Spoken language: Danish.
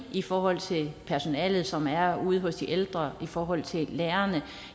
i forhold til personalet som er ude hos de ældre og i forhold til lærerne